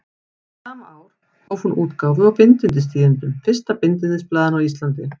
Sama ár hóf hún útgáfu á Bindindistíðindum, fyrsta bindindisblaðinu á Íslandi.